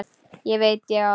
Ekki veit ég það.